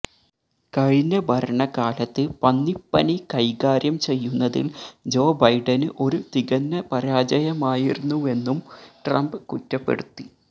കഴിഞ്ഞ ഭരണകാലത്ത് പന്നിപ്പനി കൈകാര്യം ചെയ്യുന്നതില് ജോ ബൈഡന് ഒരു തികഞ്ഞ പരാജയമായിരുന്നുവെന്നും ട്രംപ് കുറ്റപ്പെടുത്തി